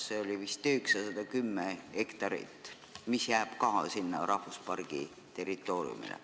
Eramaad oli vist 910 hektarit, mis jääb ka sinna rahvuspargi territooriumile.